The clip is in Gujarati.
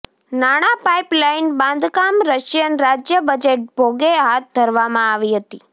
નાણાં પાઇપલાઇન બાંધકામ રશિયન રાજ્ય બજેટ ભોગે હાથ ધરવામાં આવી હતી